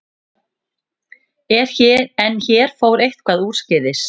En hér fór eitthvað úrskeiðis.